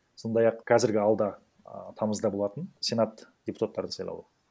сондай ақ қазіргі алда а тамызда болатын сенат депутаттарының сайлуы